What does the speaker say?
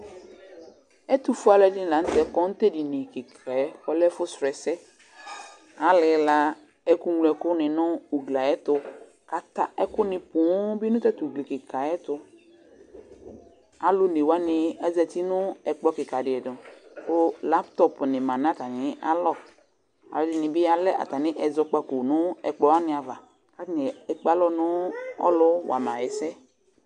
Ɛtʋfue alʋɛdɩnɩ la nʋ tɛ kɔ nʋ tʋ edini kɩka yɛ kʋ ɔlɛ ɛfʋsrɔ ɛsɛ Alɩla ɛkʋŋloɛkʋnɩ nʋ ugli yɛ tʋ kʋ ata ɛkʋnɩ poo nʋ ɔta tʋ ugli kɩka yɛ tʋ Alʋ one wanɩ azati nʋ ɛkplɔ kɩka dɩ tʋ kʋ laptɔpʋnɩ ma nʋ atamɩalɔ Alʋɛdɩnɩ bɩ alɛ atamɩ ɛzɔkpako nʋ ɛkplɔ wanɩ ava kʋ atanɩ ekpe alɔ nʋ ɔlʋwa ma ɛsɛ yɛ